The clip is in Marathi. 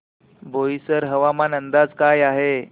बोईसर हवामान अंदाज काय आहे